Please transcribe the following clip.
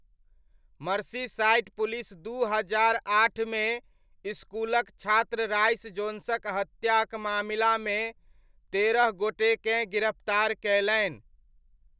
Merseyside police दू हजार आठमे इसकुलक छात्र राइस जोन्सक हत्याक मामिलामे तेरह गोटेकेँ गिरफ्तार कयलनि।